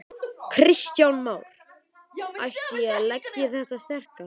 Kristján Már: Ætti ég að leggja í þetta sterka?